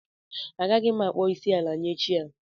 Agaghị m akpọ isi ala nye chi a